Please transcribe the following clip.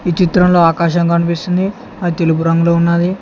ఈ చిత్రంలో ఆకాశం కన్పిస్తుంది అద్ తెలుపు రంగులో ఉన్నాది.